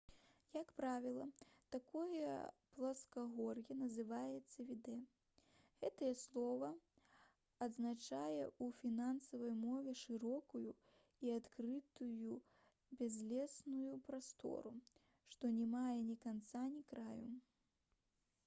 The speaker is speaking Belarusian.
як правіла такое пласкагор'е называецца «відэ». гэтае слова азначае ў фінскай мове шырокую і адкрытую бязлесную прастору што не мае ні канца і ні краю